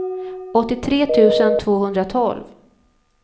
åttiotre tusen tvåhundratolv